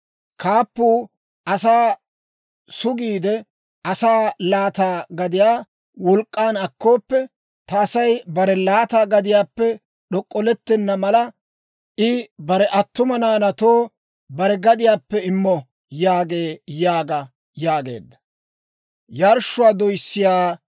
Kaappuu asaa sugiide, asaa laata gadiyaa wolk'k'an akkoppo. Ta Asay bare laata gadiyaappe d'ok'k'olettenna mala, I bare attuma naanaatoo bare gadiyaappe immo» yaagee› yaaga» yaageedda.